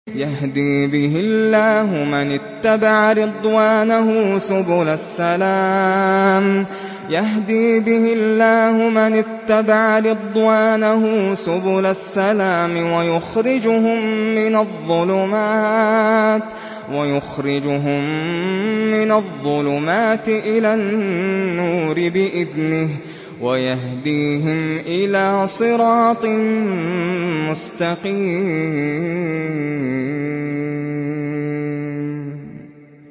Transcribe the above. يَهْدِي بِهِ اللَّهُ مَنِ اتَّبَعَ رِضْوَانَهُ سُبُلَ السَّلَامِ وَيُخْرِجُهُم مِّنَ الظُّلُمَاتِ إِلَى النُّورِ بِإِذْنِهِ وَيَهْدِيهِمْ إِلَىٰ صِرَاطٍ مُّسْتَقِيمٍ